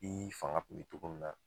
I fanga kun bɛ cogo min na.